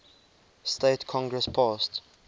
states congress passed